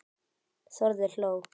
Þórður hló.